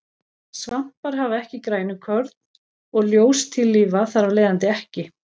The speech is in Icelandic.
Svampar hafa ekki grænukorn og ljóstillífa þar af leiðandi ekki.